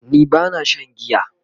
ni bana Shan giya